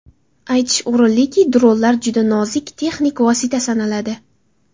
Aytish o‘rinliki, dronlar juda nozik texnik vosita sanaladi.